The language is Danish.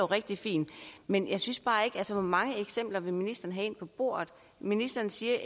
rigtig fint men hvor mange eksempler vil ministeren have ind på bordet ministeren siger